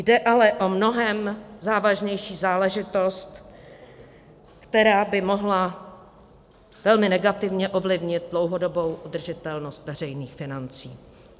Jde ale o mnohem závažnější záležitost, která by mohla velmi negativně ovlivnit dlouhodobou udržitelnost veřejných financí.